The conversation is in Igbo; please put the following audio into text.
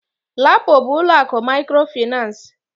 LAPO bu ụlọakụ mikrofinansi.